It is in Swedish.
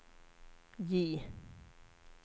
J